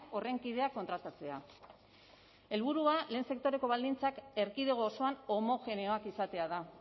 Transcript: horren kideak kontratatzea helburua lehen sektoreko baldintzak erkidego osoan homogeneoak izatea da